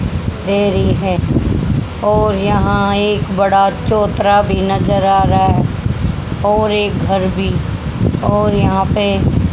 देरी है और यहां एक बड़ा चौतरा भी नजर आ रहा और एक घर भी और यहां पे--